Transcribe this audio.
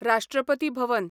राष्ट्रपती भवन